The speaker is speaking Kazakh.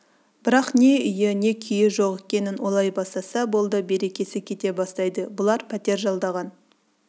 бірақ не үйі не күйі жоқ екенін ойлай бастаса болды берекесі кете бастайды бұлар пәтер жалдаған